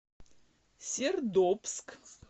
сердобск